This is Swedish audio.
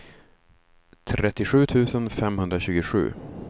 trettiosju tusen femhundratjugosju